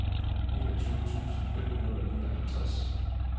niogtyve tusind fem hundrede og nioghalvtreds